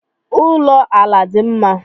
Ụlọ ala dị mma